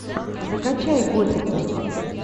закачай готику